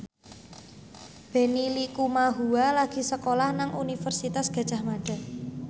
Benny Likumahua lagi sekolah nang Universitas Gadjah Mada